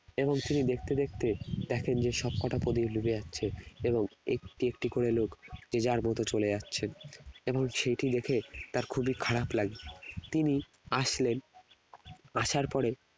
এবং তিনি দেখতে দেখতে এক range এর সবকটা প্রদীপ নিভে যাচ্ছে এবং একটি একটি করে লোক যে যার মতো করে চলে যাচ্ছেন এবং সেইটি দেখে তার খুবই খারাপ লাগলো তিনি আসলেন আসর পরে